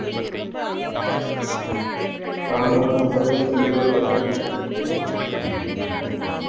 ஆமா, இனி பொங்கல் celebrate பண்ணணும்